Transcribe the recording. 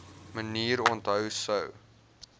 manier onthou sou